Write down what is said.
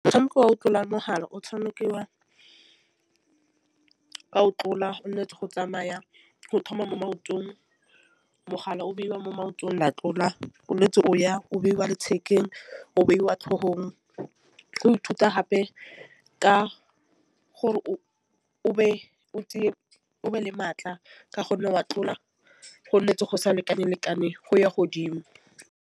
Motšhameko wa go tlola mogala o tšhamikiwa ka o tlola o tšhwanetse go tsamaya go thoma mo maotong mogala o beiwa mo maotong la tlola o ntse o ya o beiwa lethekeng o beiwa tlhogong. Go ithuta gape ka gore o o be o tseye o be le matla ka gonne wa tlola gonne fa go sa lekaneng lekane go ya ko godimo.